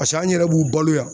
Paseke an yɛrɛ b'u balo yan